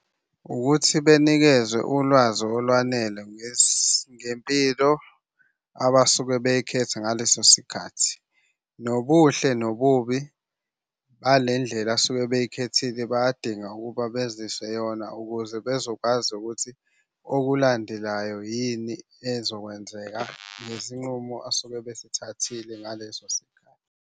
Ukuthi benikezwe ulwazi olwanele ngesempilo abasuke beyikhetha ngaleso sikhathi. Nobuhle nobubi balendlela suke beyikhethile bayadinga ukuba beziswe yona ukuze bezokwazi ukuthi okulandelayo yini ezokwenzeka ngezinqumo asuke besithathile ngaleso sikhathi.